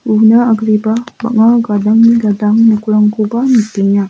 una agreba bang·a gadangni gadang nokrangkoba nikenga.